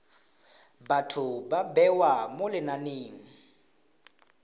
batho ba bewa mo lenaneng